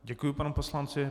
Děkuji panu poslanci.